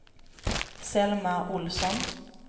Selma Ohlsson